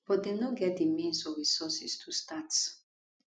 but dem no get di means or resources to start